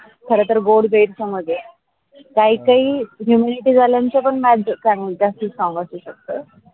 खर तर गोडं गैरसमज आहे. काही काही immunity झाल्यानच ज्यास्त संगाच असू शकत.